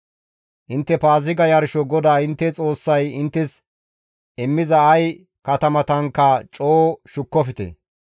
Intte Paaziga yarsho GODAA intte Xoossay inttes immiza ay katamatankka coo shukkofte.